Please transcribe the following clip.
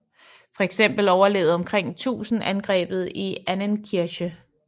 Fx overlevede omkring 1000 angrebet i Annenkirche